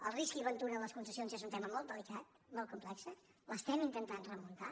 el risc i ventura en les concessions és un tema molt delicat molt complex l’estem intentant remuntar